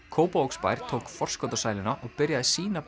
Kópavogsbær tók forskot á sæluna og byrjaði sína